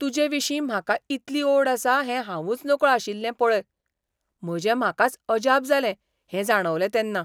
तुजेविशीं म्हाका इतली ओड आसा हें हावूंच नकळो आशिल्लें पळय. म्हजे म्हाकाच अजाप जालें हें जाणवलें तेन्ना.